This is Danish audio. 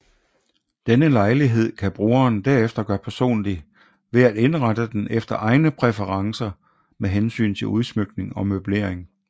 Denne lejlighed kan brugeren derefter gøre personlig ved at indrette den efter egne præferencer med hensyn til udsmykning og møblering